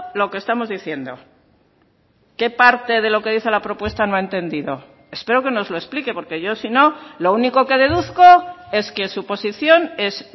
lo que estamos diciendo qué parte de lo que dice la propuesta no ha entendido espero que nos lo explique porque yo si no lo único que deduzco es que su posición es